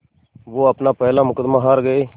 वो अपना पहला मुक़दमा हार गए